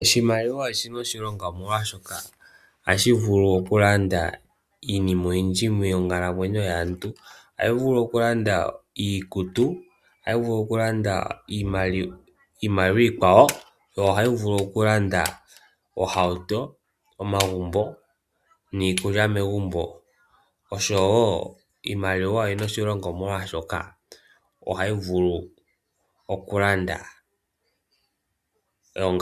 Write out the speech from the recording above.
Oshimaliwa oshina oshilongo omolwaashoka ohashi vulu oku landa iinima oyindji monkalamwenyo yaantu. Ohayi vulu oku landa iikutu, ohayi vulu oku landa iimaliwa iikwawo, ohayi vulu oku landa ohauto, omagumbo, niikulya megumbo no sho woo iimaliwa oyina oshilongo molwaashoka ohayi vulu oku landa.